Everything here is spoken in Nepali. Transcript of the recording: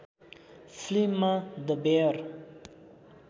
फिल्ममा द बेयर